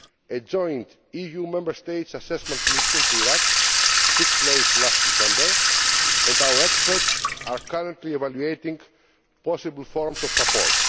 A joint EU Member States assessment mission to Iraq took place last December, and our experts are currently evaluating possible forms of support.